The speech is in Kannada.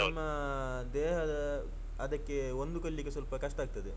ಆವಾಗ ನಮ್ಮ ದೇಹದ ಅದಕ್ಕೆ ಹೊಂದಿಕೊಳ್ಳಿಕೆ ಸ್ವಲ್ಪ ಕಷ್ಟ ಆಗ್ತದೆ.